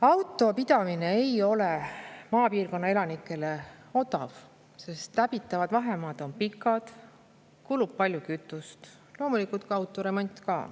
Auto pidamine ei ole maapiirkonna elanikele aga odav, sest läbitavad vahemaad on pikad, kulub palju kütust, loomulikult maksab ka auto remont.